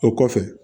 O kɔfɛ